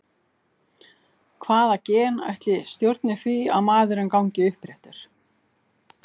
Hvaða gen ætli stjórni því að maðurinn gangi uppréttur?